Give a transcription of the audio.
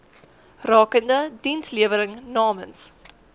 rakende dienslewering namens